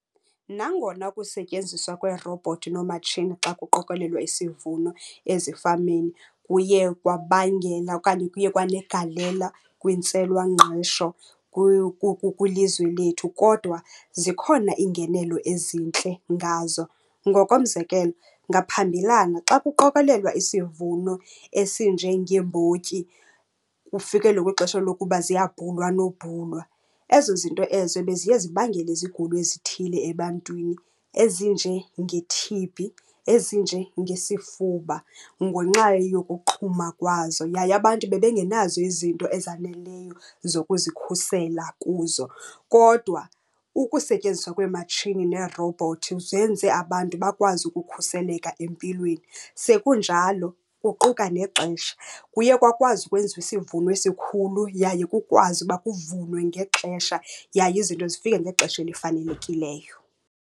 Nangona ukusetyenziswa kweerobhothi noomatshini xa kuqokolelwa isivuno ezifameni kuye kwabangela okanye kuye kwanegalela kwintswelangqesho kwilizwe lethu, kodwa zikhona iingenelo ezintle ngazo. Ngokomzekelo ngaphambilana xa kuqokelelwa isivuno esinjengeembotyi, kufikelelwe kwixesha lokuba ziyabhunwa nobhunwa, ezo zinto ezo beziye zibangele izigulo ezithile ebantwini ezinjenge-T_B, ezinjengesifuba ngenxa yokuqhuma kwazo, yaye abantu bebengenazo izinto ezaneleyo zokuzikhusela kuzo. Kodwa ukusetyenziswa kweematshini neerowubhothi zenze abantu bakwazi ukukhuseleka empilweni. Sekunjalo kuquka nexesha. Kuye kwakwazi ukwenziwa isivuno esikhulu yaye kukwazi uba kuvunwe ngexesha yaye izinto zifike ngexesha elifanelekileyo.